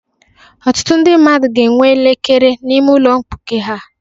Ọtụtụ ndị mmadụ ga-enwe elekere n'ime ụlọ mkpuke ha.